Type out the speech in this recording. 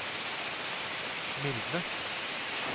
mildne